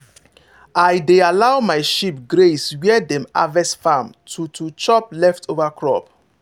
if you time am well animals go chop the grass when e sweet pass.